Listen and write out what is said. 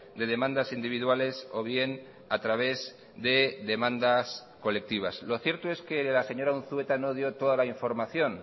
de demandas individuales o bien a través de demandas colectivas lo cierto es que la señora unzueta no dio toda la información